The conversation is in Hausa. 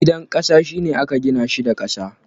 Gidan ƙasa, shi ne aka gina shi da ƙasa.